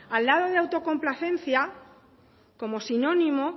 al lado de autocomplacencia como sinónimo